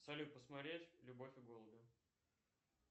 салют посмотреть любовь и голуби